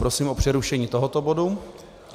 Prosím o přerušení tohoto bodu.